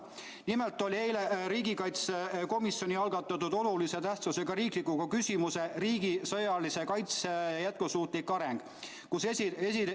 Nimelt oli eile riigikaitsekomisjoni algatatud olulise tähtsusega riikliku küsimuse "Riigi sõjalise kaitse jätkusuutlik areng" arutelu.